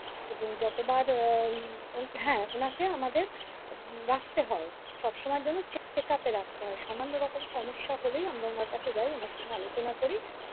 এবং যতবার হ্যাঁ ওনাকে আমাদের রাখতে হয় সবসময়ের জন্য চেকআপে রাখতে হয় সামান্য রকম সমস্যা হলেই আমরা ওনার কাছে যাই ওনার সঙ্গে আলোচনা করি।